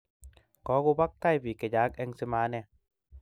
Kukobak tai biik che chang eng simaanee